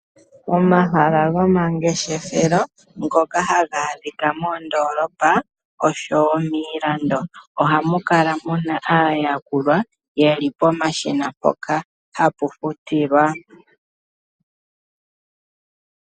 Omahala gomangeshefelo ngoka haga adhika moondoolopa oshowo miilando. Ohamu kala muna aayakuli ye li pomashina mpoka hapu futilwa.